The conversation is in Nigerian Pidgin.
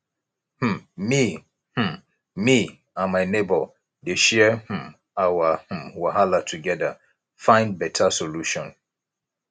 um me um me and my neighbor dey share um our um wahala togeda find beta solution